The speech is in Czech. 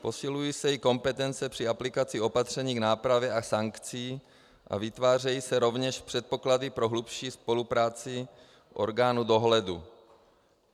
Posilují se i kompetence při aplikaci opatření k nápravě a sankcí a vytvářejí se rovněž předpoklady pro hlubší spolupráci orgánů dohledu.